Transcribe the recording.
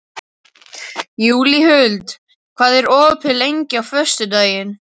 Júlíhuld, hvað er opið lengi á föstudaginn?